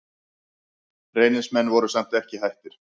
Reynismenn voru samt ekki hættir.